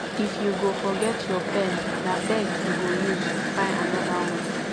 if you go forget your pen na beg you go use fyn another one